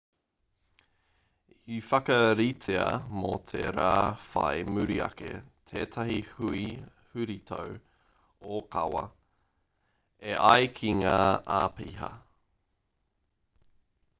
i whakaritea mō te rā whai muri ake tētahi hui huritau ōkawa e ai ki ngā āpiha